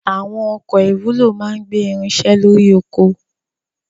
Àwọn ọkọ̀ ìwúlò máa ń gbé irinṣẹ́ lórí oko.